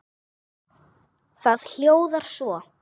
Það hljóðar svo